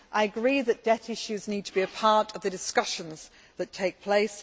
I agree that debt issues need to be a part of the discussions that take place.